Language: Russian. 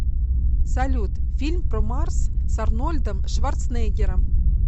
салют фильм про марс с арнольдом шварцнеггером